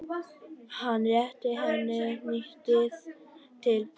Hann rétti henni hnýtið til baka.